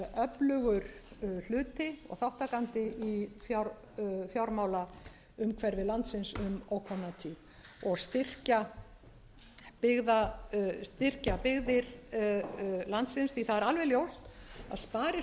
öflugur hluti og þátttakandi í fjármálaumhverfi landsins um ókomna tíð og styrkja byggðir landsins því það er alveg ljóst að